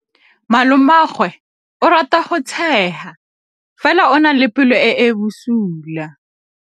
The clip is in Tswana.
Malomagwe o rata go tshega fela o na le pelo e e bosula.